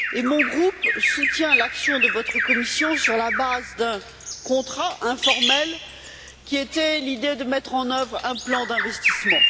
Mon groupe soutient l'action de votre Commission sur la base d'un contrat informel, dont l'idée était de mettre en œuvre un plan d'investissement.